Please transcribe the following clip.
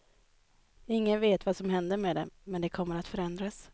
Ingen vet vad som händer med dem, men de kommer att förändras.